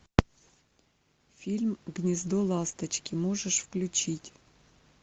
фильм гнездо ласточки можешь включить